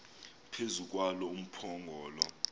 phezu kwalo umphongolo